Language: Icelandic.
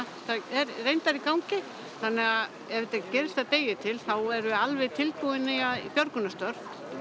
er reyndar í gangi þannig að ef þetta gerist að degi til þá erum við alveg tilbúin í björgunarstörf